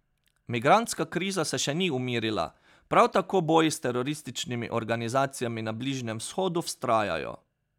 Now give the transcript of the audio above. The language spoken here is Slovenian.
Migrantska kriza se še ni umirila, prav tako boji s terorističnimi organizacijami na Bližnjem vzhodu vztrajajo.